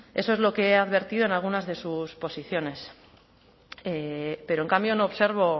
eso es lo que ha advertido en algunas de sus posiciones pero en cambio no observo